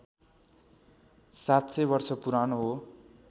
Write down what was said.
७०० वर्ष पुरानो हो